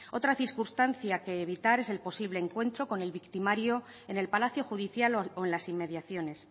otra circunstancia que evitar es el posible encuentro con el victimario en el palacio judicial o en las inmediaciones